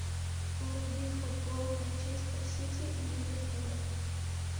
вруби футбол манчестер сити и ливерпуля